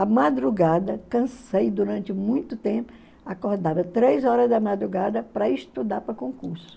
À madrugada, cansei durante muito tempo, acordava três horas da madrugada para estudar para concurso.